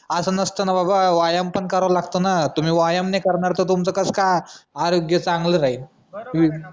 असा नसत ना बाबा व्यायाम पण करावा लागतो तुम्ही व्यायाम नाय करणार मी तुमचा कसा काय आरोग्य चांगला राहील